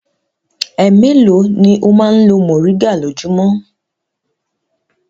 Ẹ mélòó ni ó máa ń lo mòríngà lójúmọ́?